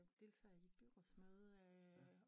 Deltage i byrådsmøde